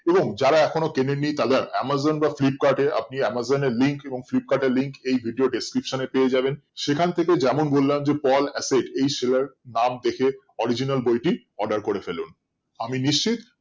এবং যারা এখনো কেনেনি তারা amazon বা flipkart এ আপনি amazon এর link বা flipkart এর link ই video description এ পেয়ে যাবেন সেখান থেকে যেমন বললাম যে pol acid এই seller নাম দেখে original বইটি order করে ফেলুন আমি নিশ্চিত